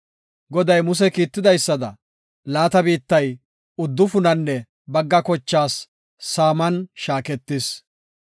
Goday Muse kiitidaysada laata biittay uddufunanne bagga kochaas saaman shaaketis.